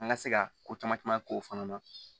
An ka se ka ko caman caman k'o fana na